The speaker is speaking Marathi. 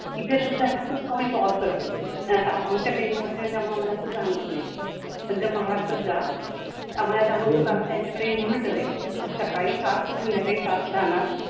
इथे सुद्धा ए ना खूप कमी power कटते आमच्याकडे inverter ए म आम्हाला असं जाणवत नाही पण जर महाराष्ट्रात जा आम्हाला जाणवतं कारण त्यांच्याकडे inverter ए सकाळी सात ते संध्याकाळी सात जाणार